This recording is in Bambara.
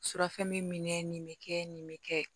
Surafɛn mi minɛ nin me kɛ nin bɛ kɛ